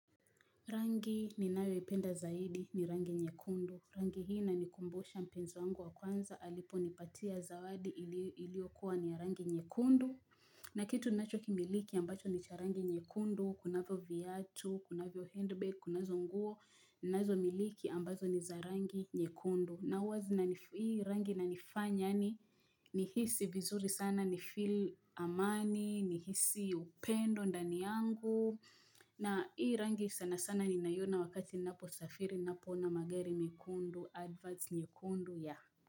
Rangi ninayo ipenda zaidi ni rangi nyekundu. Rangi hii inanikumbusha mpenzi wangu wa kwanza aliponipatia zawadi iliyokuwa ni ya rangi nyekundu na kitu ninacho kimiliki ambacho ni cha rangi nyekundu, kunavyo vyatu, kunavyo handbag, kunazo nguo, ninazo miliki ambazo ni za rangi nyekundu. Na huwa zinani hii rangi inanifanya yaani nihisi vizuri sana ni feel amani nihisi upendo ndani yangu na hii rangi sana sana ninaiona wakati ninapo safiri ninapo ona magari mekundu, adverts nyekundu yah.